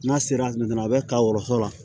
N'a sera a bɛ ka wɔso la